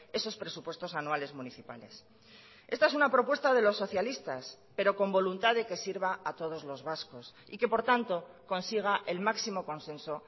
esos presupuestos anuales municipales esta es una propuesta de los socialistas pero con voluntad de que sirva a todos los vascos y que por tanto consiga el máximo consenso